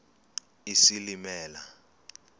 isilimela